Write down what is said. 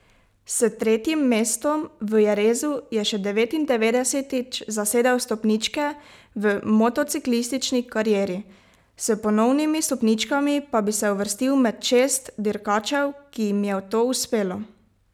S tretjim mestom v Jerezu je še devetindevetdesetič zasedel stopničke v motociklistični karieri, s ponovnimi stopničkami pa bi se uvrstil med šest dirkačev, ki jim je to uspelo.